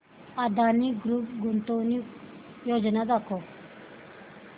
Adani group गुंतवणूक योजना दाखव